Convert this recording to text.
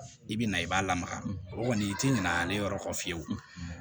I bi na i b'a lamaga o kɔni i ti ɲina ale yɔrɔ kɔ fiyewu